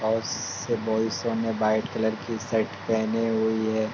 बहोत से white colour की शर्ट पहनी हुई है।